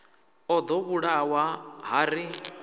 o ḓo vhulawa ha ri